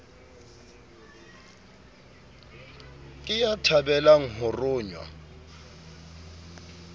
ke ya thabelang ho rongwa